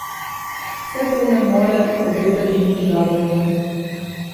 Vse to ne more obetati nič dobrega.